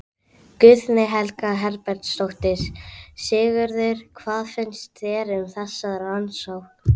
Guðný Helga Herbertsdóttir: Sigurður, hvað finnst þér um þessa rannsókn?